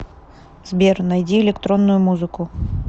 сбер найди электронную музыку